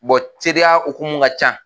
teriya hokumu ka ca